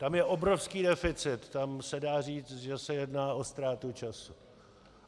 Tam je obrovský deficit, tam se dá říct, že se jedná o ztrátu času.